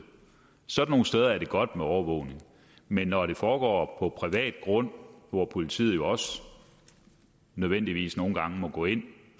sådan nogle steder er det godt med overvågning men når det foregår på privat grund hvor politiet jo også nødvendigvis nogle gange må gå ind